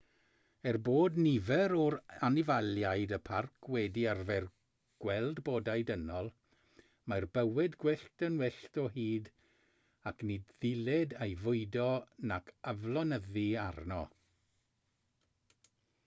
er bod nifer o anifeiliaid y parc wedi arfer gweld bodau dynol mae'r bywyd gwyllt yn wyllt o hyd ac ni ddylid ei fwydo nac aflonyddu arno